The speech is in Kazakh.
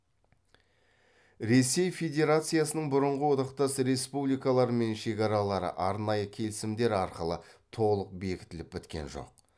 ресей федерациясының бұрынғы одақтас республикалармен шекаралары арнайы келісімдер арқылы толық бекітіліп біткен жоқ